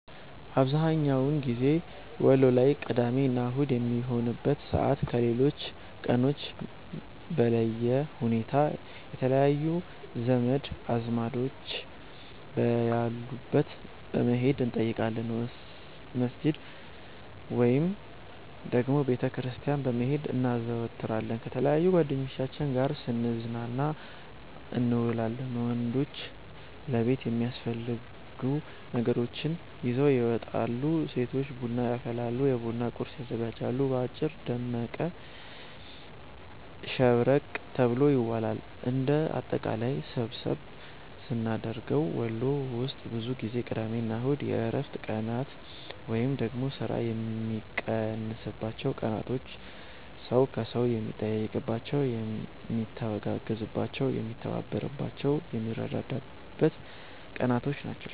አብዝሀኛውን ጊዜ ወሎ ላይ ቅዳሜ እና አሁድ በሚሆንበት ሰዓት ከሌሎች ቀኖች በለየ ሁኔታ የተለያዩ ዘመድ አዝማዶች በያሉበት በመሄድ እንጠይቃለን፣ መስጅድ ወይንም ደግሞ ቤተ ክርስቲያን በመሄድ እናዘወትራለን፣ ከተለያዩ ጓደኞቻችን ጋር ስንዝናና እንውላለን። ወንዶች ለቤት የሚያስፈልጉ ነገራቶችን ይዘው ይመጣሉ፤ ሴቶች ቡና ያፈላሉ፤ የቡና ቁርስ ያዘጋጃሉ። በአጭሩ ደመቅ ሸብረቅ ተብሎ ይዋላል። እንደ አጠቃላይ ሰብሰብ ስናደርገው ወሎ ውስጥ ብዙ ጊዜ ቅዳሜ እና እሁድ የእረፍት ቀናት ወይንም ደግሞ ስራ የሚቀንስባቸው ቀናቶች፣ ሰው ከሰው የሚጠያየቅባቸው፣ የሚተጋገዝባቸው፣ የሚተባበርባቸው፣ የሚረዳዳበት ቀናቶች ናቸው።